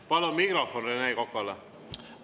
Palun mikrofon Rene Kokale!